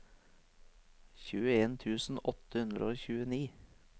tjueen tusen åtte hundre og tjueni